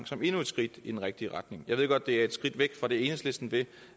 som endnu et skridt i den rigtige retning jeg ved godt at det er et skridt væk fra det enhedslisten vil